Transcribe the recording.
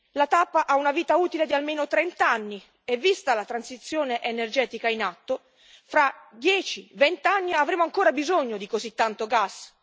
La TAP ha una vita utile di almeno trent'anni e, vista la transizione energetica in atto, fra dieci o vent'anni avremo ancora bisogno di così tanto gas?